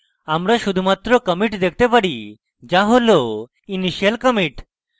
আমরা শুধুমাত্র commit দেখতে পারি যা হল initial commit